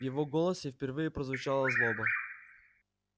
в его голосе впервые прозвучала злоба